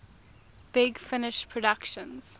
big finish productions